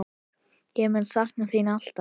Ég mun sakna þín alltaf.